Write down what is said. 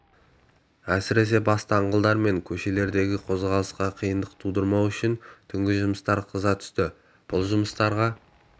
әсіресе бас даңғылдар мен көшелердегі қозғалысқа қиындық тудырмау үшін түнгі жұмыс қыза түсті бұл жұмыстарға